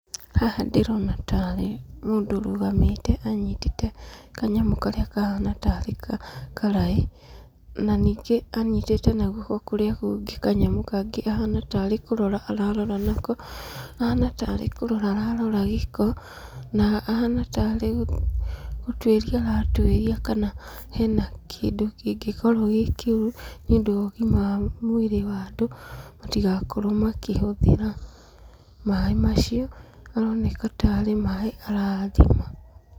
Haha ndĩrona tarĩ mũndũ ũrũgamĩte anyitĩte kanyamũ karĩa kahana tarĩ karaĩ, na ningĩ anyitĩte na guoko kũrĩa kũngĩ kanyamũ kangĩ kahana tarĩ kũrora ararora nako, ahana tarĩ kũrora ararora gĩko, na ahana tarĩ gũtuĩria aratuĩria kana hena kĩndũ kĩngĩkorwo gĩ kĩũru, nĩũndũ wa ũgima wa mwĩrĩ wa andũ, matigakorwo makĩhũthĩra maĩ macio, aroneka tarĩ maĩ arathima.